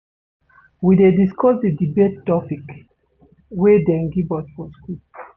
We dey discuss di debate topic wey dem give us for skool.